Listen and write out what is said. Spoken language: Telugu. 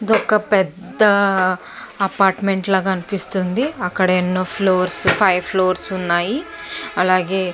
ఇది ఒక పెద్ద అపార్ట్మెంట్ లాగా అనిపిస్తుంది అక్కడ ఎన్నో ఫ్లోర్స్ ఫైవ్ ఫ్లోర్స్ వున్నాయి అలాగే --